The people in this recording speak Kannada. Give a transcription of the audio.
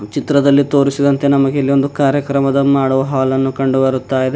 ಚಿತ್ರದಲ್ಲಿ ತೋರಿಸಿದಂತೆ ನಮಗೆ ಇಲ್ಲೊಂದು ಕಾರ್ಯಕ್ರಮದ ಮಾಡುವ ಹಾಲ ನ್ನು ಕಂಡು ಬರ್ತಾ ಇದೆ.